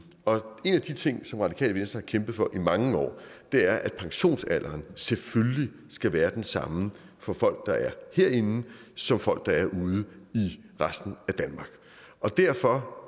en af de ting som radikale venstre har kæmpet for i mange år er at pensionsalderen selvfølgelig skal være den samme for folk der er herinde som for folk der er ude i resten af danmark og derfor